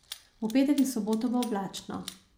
V petek in soboto bo oblačno.